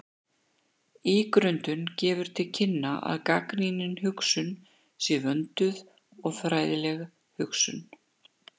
Ígrundun gefur til kynna að gagnrýnin hugsun sé vönduð og fræðileg hugsun.